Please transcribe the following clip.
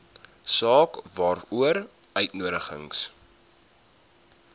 saak waaroor uitnodigings